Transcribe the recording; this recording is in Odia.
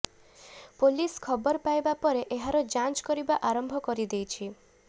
ପୋଲିସ୍ ଖବର ପାଇବା ପରେ ଏହାର ଜାଞ୍ଚ୍ କରିବା ଆରମ୍ଭ କରିଦେଇଛି